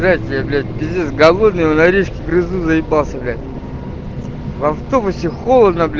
блять я блять пиздец голодный в норильске трясусь заебался бля в автобусе холодно бля